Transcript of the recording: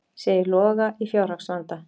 Segir Loga í fjárhagsvanda